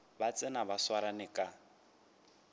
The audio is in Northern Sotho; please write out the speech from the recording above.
ba tsena ba swarane ka